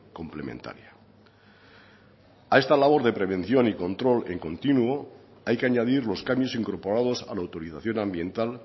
complementaria a esta labor de prevención y control continuo hay que añadir los cambios incorporados a la autorización ambiental